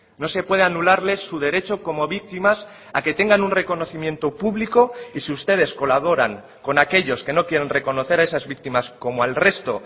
no se puede anularle su derecho como víctimas a que tengan un reconocimiento público y si ustedes colaboran con aquellos que no quieren reconocer a esas víctimas como al resto